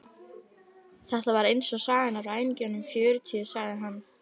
Þetta var eins og sagan af ræningjunum fjörutíu, sagði hann.